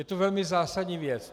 Je to velmi zásadní věc.